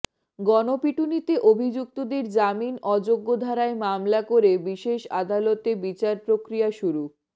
গণপিটুনিতে অভিযুক্তদের জামিন অযোগ্য ধারায় মামলা করে বিশেষ আদালতে বিচারপ্রক্রিয়া শুরু